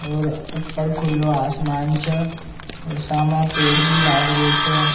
और ऊपर खुले आसमान छ और साम पेड़ भी लाग रहो छ।